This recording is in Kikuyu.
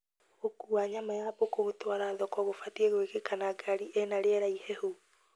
Gũkua nyama ya mbũkũ gũtwara thoko gũbatie gwĩkĩka na ngari ĩna rĩera ihehu